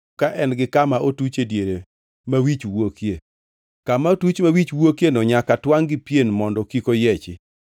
ka en gi kama otuch e diere ma wich wuokie. Kama otuch ma wich wuokieno nyaka twangʼ gi pien mondo kik oyiechi.